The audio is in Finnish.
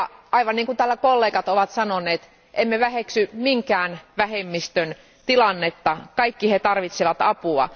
Aivan niin kuin täällä kollegat ovat sanoneet, emme väheksy minkään vähemmistön tilannetta, kaikki he tarvitsevat apua.